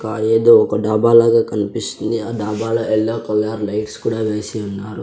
ఏదో ఒక డాబా లాగా కనిపిస్తుంది ఆ డాబా లో యెల్లో కలర్ లైట్స్ కూడా వేసి ఉన్నారు.